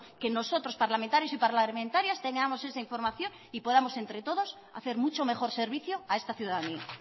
que nosotros parlamentarios y parlamentarias tengamos esa información y podamos entre todos hacer mucho mejor servicio a esta ciudadanía